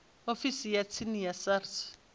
ofisini ya tsini ya sars